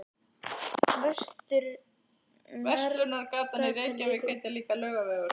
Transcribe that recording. Verslunargatan í Reykjavík heitir líka Laugavegur.